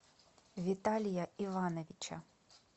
виталия ивановича